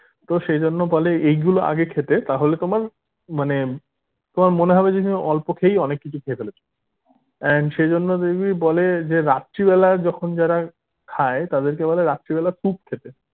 তো সেইজন্য বলে এগুলো আগে খেতে তাহলে তোমার মানে তোমার মনে হবে যে তুমি অল্প খেয়েই অনেক কিছু খেয়ে ফেলেছো and সেজন্য দেখবি বলে যে রাত্রি বেলা যখন যারা খায় তাদেরকে বলে রাত্রিবেলা soup খেতে